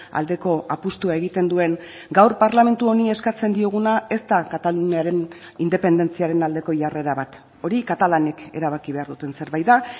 aldeko apustua egiten duen gaur parlamentu honi eskatzen dioguna ez da kataluniaren independentziaren aldeko jarrera bat hori katalanek erabaki behar duten zerbait da